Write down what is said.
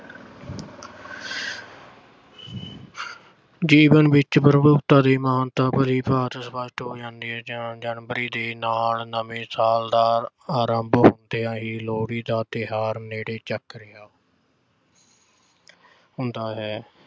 ਜੀਵਨ ਵਿੱਚ ਤੇ ਮਹਾਨਤਾ ਭਲੀ-ਭਾਂਤ ਸਪੱਸ਼ਟ ਹੋ ਜਾਂਦੀ ਹੈ ਜਾਂ January ਦੇ ਨਾਲ ਨਵੇਂ ਸਾਲ ਦਾ ਆਰੰਭ ਹੁੰਦਿਆਂ ਹੀ ਲੋਹੜੀ ਦਾ ਤਿਓਹਾਰ ਨੇੜੇ ਰਿਹਾ ਹੁੰਦਾ ਹੈ।